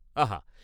আহা!